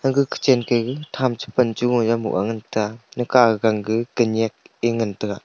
aga kitchen ka gag tham cha pan cha gung aa moh ga ngantaga ika gang ga kanyak e ngan taga.